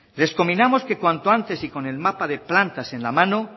les conminamos que cuanto antes y con el mapa de plantas en la mano